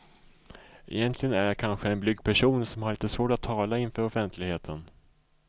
Egentligen är jag kanske en blyg person som har lite svårt att tala inför offentligheten.